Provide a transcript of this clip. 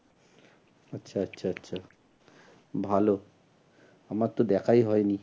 আচ্ছা আচ্ছা আচ্ছা ভালো আমার তো দেখাই হয়নি।